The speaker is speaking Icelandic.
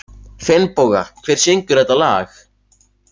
Finnboga, hver syngur þetta lag?